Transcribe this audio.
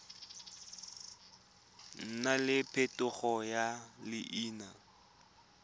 nna le phetogo ya leina